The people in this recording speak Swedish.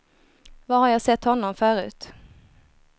Var har jag sett honom förut?